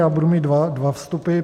Já budu mít dva vstupy.